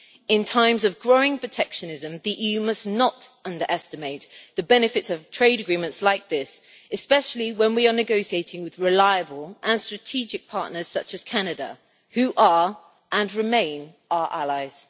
In times of growing protectionism, the EU must not underestimate the benefits of trade agreements like this, especially when we are negotiating with reliable and strategic partners such as Canada who are, and remain, our allies.